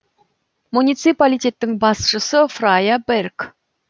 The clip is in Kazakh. муниципалитеттің басшысы фрайа берг